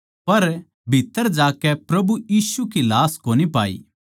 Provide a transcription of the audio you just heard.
पर भीत्त्तर जाकै प्रभु यीशु की लाश कोनी पाई